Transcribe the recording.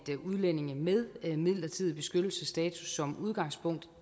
udlændinge med midlertidig beskyttelsesstatus som udgangspunkt